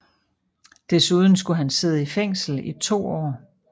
Desuden skulle han sidde i fængsel i to år